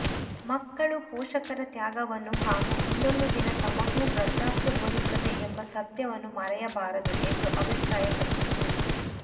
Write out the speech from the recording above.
ಮಕ್ಕಳು ಪೋಷಕರ ತ್ಯಾಗವನ್ನು ಹಾಗೂ ಮುಂದೊಂದು ದಿನ ತಮಗೂ ವೃದ್ಧಾಪ್ಯ ಬರುತ್ತದೆ ಎಂಬ ಸತ್ಯವನ್ನು ಮರೆಯಬಾರದು ಎಂದು ಅಭಿಪ್ರಾಯಪಟ್ಟಿತು